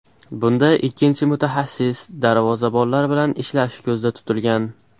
Bunda ikkinchi mutaxassis darvozabonlar bilan ishlashi ko‘zda tutilgan.